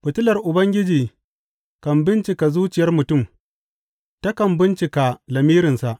Fitilar Ubangiji kan bincika zuciyar mutum takan bincika lamirinsa.